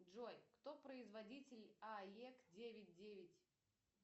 джой кто производитель аег девять девять